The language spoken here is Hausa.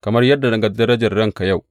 Kamar yadda na ga darajar ranka yau.